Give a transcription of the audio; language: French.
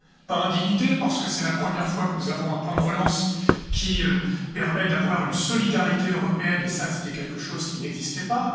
Pas d'indignité, parce que c'est la première fois que nous avons un plan de relance qui permet d'avoir une solidarité européenne et cela, c'est quelque chose qui n'existait pas.